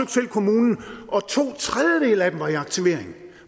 selv kommunen og to tredjedele af dem var i aktivering